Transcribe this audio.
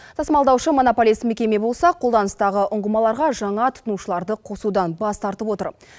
тасымалдаушы монополист мекеме болса қолданыстағы ұңғымаларға жаңа тұтынушыларды қосудан бас тартып отыр